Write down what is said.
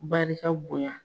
Barika bonya.